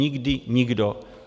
Nikdy nikdo.